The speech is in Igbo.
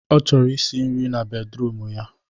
Ọ chọrọ isi nri na bedruum ya